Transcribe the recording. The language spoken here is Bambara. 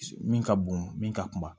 Min ka bon min ka kuma